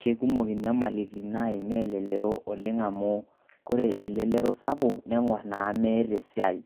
Keikumok inyamalitin naimaa elelero oleng' amu kore elelero sapuk neng'orr naa meeta esiai,